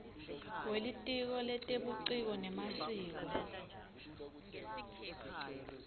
welitiko letebuciko nemasiko